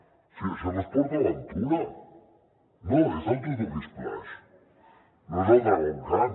o sigui això no és port aventura no és el tutuki splash no és el dragon khan